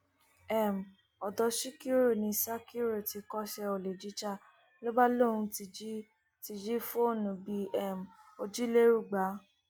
um ọdọ síkírù ni sakiru ti kọṣẹ olè jíjà ló bá lóun ti jí ti jí fóònù bíi um òjìlérúgba